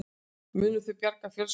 Munu þau bjarga fjölskyldunni